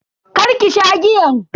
karki sha giyan.